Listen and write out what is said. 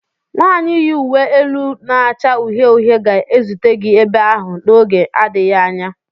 Nwanyị yi uwe elu na-acha uhie uhie ga-ezute gị ebe ahụ n'oge adịghị anya.